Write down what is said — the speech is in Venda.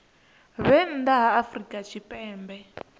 vhe nnḓa ha afrika tshipembe